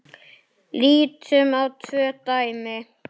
Lítum á tvö dæmi.